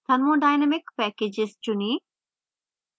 thermodynamic packages चुनें